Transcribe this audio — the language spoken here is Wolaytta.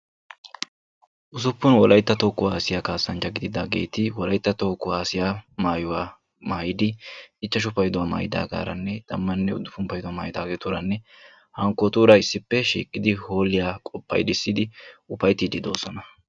wolaytta toho kuwassiyaa kassanchati holiyaa paydisi simidi issipe ufaytidi beettosona.